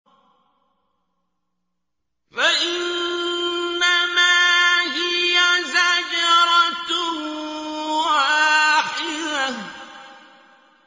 فَإِنَّمَا هِيَ زَجْرَةٌ وَاحِدَةٌ